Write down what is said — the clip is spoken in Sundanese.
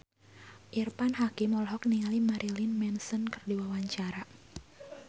Irfan Hakim olohok ningali Marilyn Manson keur diwawancara